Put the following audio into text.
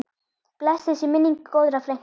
Blessuð sé minning góðrar frænku.